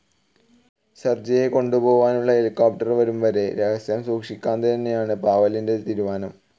സെർജിയെകൊണ്ടുപോവാനുള്ള helicopter വരുംവരെയും രഹസ്യം സൂക്ഷിക്കാന്തന്നെയാണ് പാവെലിന്റെ തീരുമാനം.